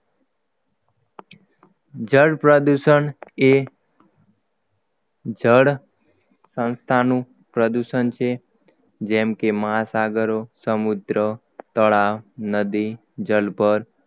જળ પ્રદૂષણએ જળ સંસ્થાનું પ્રદૂષણ છે જેમ કે મહાસાગરો સમુદ્ર તળાવ નદી જલભર